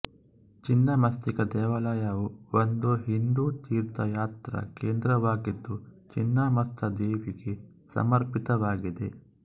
ಛಿನ್ನಮಸ್ತಿಕಾ ದೇವಾಲಯವು ಒಂದು ಹಿಂದೂ ತೀರ್ಥಯಾತ್ರಾ ಕೇಂದ್ರವಾಗಿದ್ದು ಛಿನ್ನಮಸ್ತ ದೇವಿಗೆ ಸಮರ್ಪಿತವಾಗಿದೆ